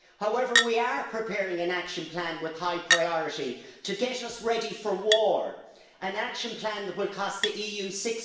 However, we are preparing an action plan with high priority to get us ready for war an action plan that will cost the EU EUR